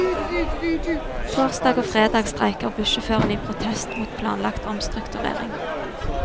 Torsdag og fredag streiker bussjåførene i protest mot planlagt omstrukturering.